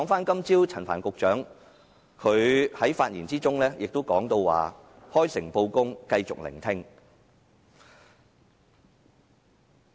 今早陳帆局長在發言中提到"開誠布公，繼續聆聽"。